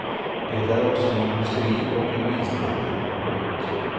Det är också en industri och en vinstmaskin. punkt